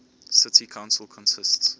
city council consists